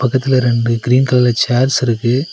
பக்கத்துல ரெண்டு கிரீன் கலர்ல சேர்ஸ் இருக்கு.